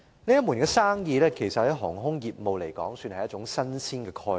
飛機租賃這門生意於航空業務而言，算是一種新鮮概念。